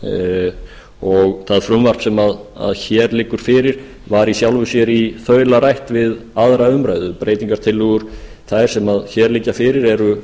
ekki verulegar það frumvarp sem hér liggur fyrir var í sjálfu sér í þaula rætt við aðra umræðu breytingartillögur þær sem hér liggja fyrir eru